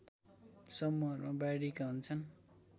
समूहमा बाँडिएका हुन्छन्